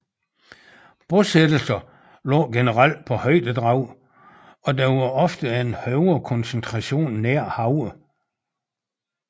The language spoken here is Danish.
Bosættelser lå generelt på højdedrag og der var ofte en højere koncentration nær havet